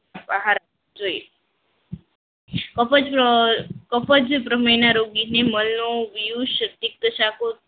આહાર જોઈએ બ્રાહ્મણીના રોગીને મણનો